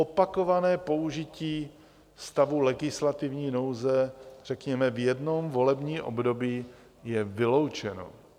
Opakované použití stavu legislativní nouze, řekněme, v jednom volebním období je vyloučeno.